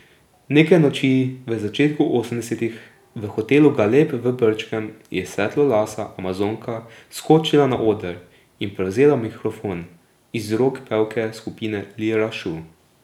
Neke noči v začetku osemdesetih v hotelu Galeb v Brčkem je svetlolasa amazonka skočila na oder in prevzela mikrofon iz rok pevke skupine Lira šou.